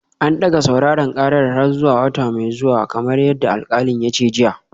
An dage sauraren karar har zuwa wata mai zuwa kamar yadda alkalin ya ce jiya